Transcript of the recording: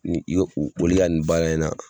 Ni i ye u olu ka nin baara in na